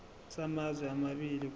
samazwe amabili kusho